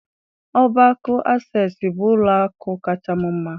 Ọbá akụ Asesụ bụ ụlọ akụ kacha m mma.